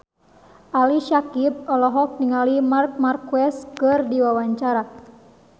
Ali Syakieb olohok ningali Marc Marquez keur diwawancara